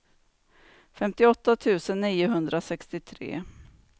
femtioåtta tusen niohundrasextiotre